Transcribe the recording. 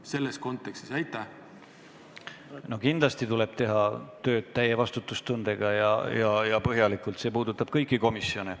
Kindlasti tuleb teha tööd täie vastutustundega ja põhjalikult, see puudutab kõiki komisjone.